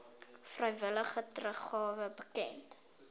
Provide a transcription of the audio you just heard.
vrywillige teruggawe bekend